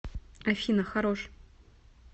афина хорош